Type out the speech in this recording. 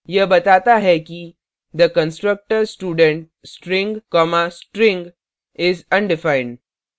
यह बताता है किthe constructor student string commastring is undefined